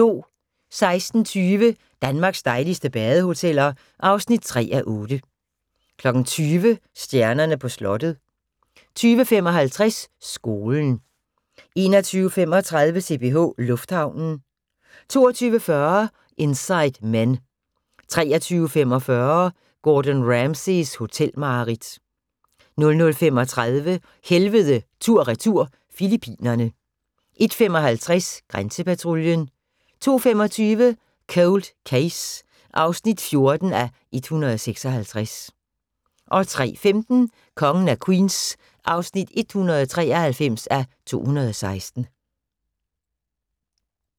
16:20: Danmarks dejligste badehoteller (3:8) 20:00: Stjernerne på slottet 20:55: Skolen 21:35: CPH Lufthavnen 22:40: Inside Men 23:45: Gordon Ramsays hotelmareridt 00:35: Helvede tur/retur – Filippinerne 01:55: Grænsepatruljen 02:25: Cold Case (14:156) 03:15: Kongen af Queens (193:216)